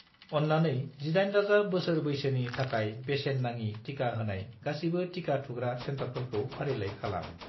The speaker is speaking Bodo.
अन्नानै 18+ बोसोर बैसोनि थाखाय बेसेन नाङि टिका होनाय गासिबो टिका थुग्रा सेन्टारफोरखौ फारिलाइ खालाम।